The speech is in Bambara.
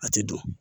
A tɛ don